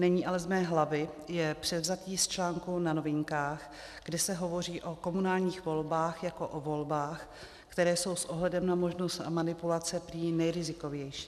Není ale z mé hlavy, je převzatý z článku na Novinkách, kde se hovoří o komunálních volbách jako o volbách, které jsou s ohledem na možnost manipulace prý nejrizikovější.